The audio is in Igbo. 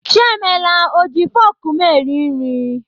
Chiemela ọ ji fọk m eri nri?